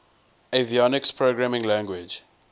avionics programming language